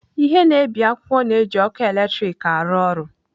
Ihe na-ebi akwụkwọ na-eji ọkụ eletrik arụ ọrụ.